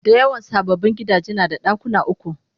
Dayawan sababbin gidaje nada dakuna uku